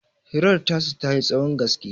hirar tasu ta yi tsahon gaske